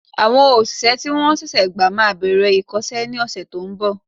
Àwọn òṣìṣẹ́ tí wọ́n ṣẹ̀ṣẹ̀ gba máa bẹ̀rẹ̀ ìkọ́sẹ́ ní ọ̀sẹ̀ to ń bọ̀